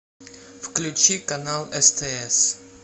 включи канал стс